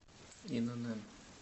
инн